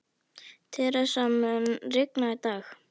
Theresa, mun rigna í dag?